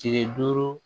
Tile duuru